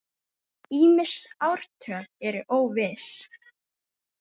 Ýmis ártöl eru óviss.